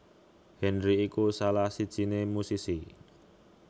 Henry iku salah sijiné musisi